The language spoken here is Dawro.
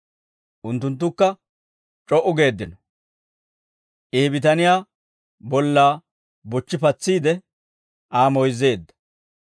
Unttunttukka c'o"u geeddino. I he bitaniyaa bollaa bochchi patsiide Aa moyzzeedda.